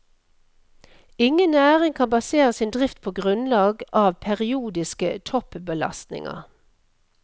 Ingen næring kan basere sin drift på grunnlag av periodiske toppbelastninger.